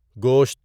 گوشت